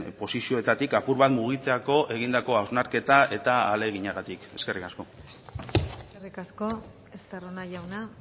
posizioetatik apur bat mugitzeko egindako hausnarketa eta ahaleginagatik eskerrik asko eskerrik asko estarrona jauna